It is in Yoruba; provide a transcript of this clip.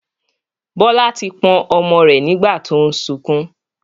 Bọlá tí pọ̀n ọmọ rẹ nígbà tó ń sunkún